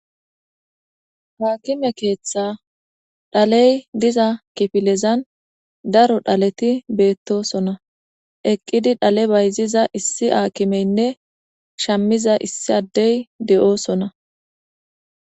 Haakime keeththa dhaley diza kifilezan daro dhaleti beettosona eqqidi dhale bayziza issi aakimeynne shammiza issi addey de7oosona